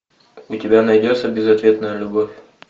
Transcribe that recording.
у тебя найдется безответная любовь